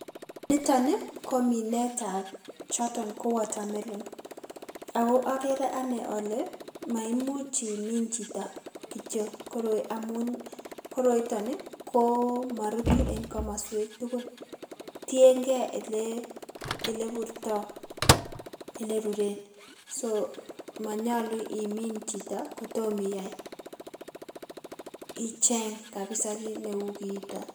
Niton ni ko minetab choton ko water melon ako okere ane ole maimuch imin chito kitio koroi amun koroiton ii ko morutu en komosuek tugul tiengei ile ile burto ileruren so monyolu imin chito kotom iyai icheng' kabisa kiy neu kiiton.